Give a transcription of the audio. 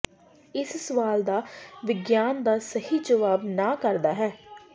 ਇਸ ਸਵਾਲ ਦਾ ਵਿਗਿਆਨ ਦਾ ਸਹੀ ਜਵਾਬ ਨਾ ਕਰਦਾ ਹੈ